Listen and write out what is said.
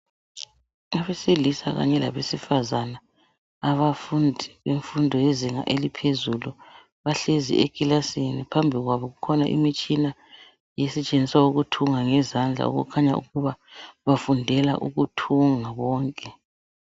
abesilisa kanye labesifazana abafundi bemfundo yezinga eliphezulu bahlezi ekilasini phambi kwabo kukhona imitshina esetshenziswa ukuthunga ngezandla kukhanya ukuba bafundela ukuthunga bonke